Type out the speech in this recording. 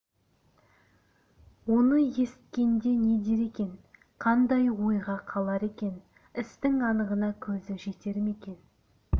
оны есіткенде не дер екен қандай ойға қалар екен істің анығына көзі жетер ме екен